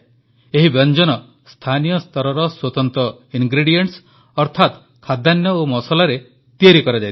ଏହି ବ୍ୟଞ୍ଜନ ସ୍ଥାନୀୟ ସ୍ତରର ସ୍ୱତନ୍ତ୍ର ଇନଗ୍ରେଡିଏଣ୍ଟସ୍ ଅର୍ଥାତ ଖାଦ୍ୟାନ୍ନ ଓ ମସଲାରେ ତିଆରି କରାଯାଇଥାଏ